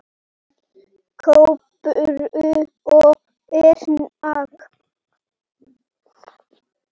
Kolbrún og Erling.